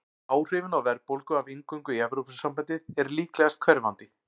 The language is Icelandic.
Áhrifin á verðbólgu af inngöngu í Evrópusambandið eru líklegast hverfandi.